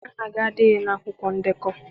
Aha gị adịghị na akwụkwọ ndekọ.